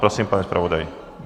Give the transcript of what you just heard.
Prosím, pane zpravodaji.